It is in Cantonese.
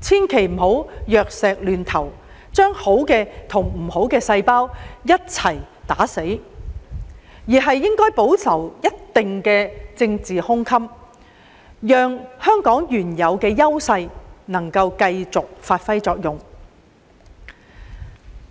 千萬不能藥石亂投，把好的和壞的細胞一併消滅，而應保留一定的政治胸襟，讓香港的原有優勢繼續發揮作用。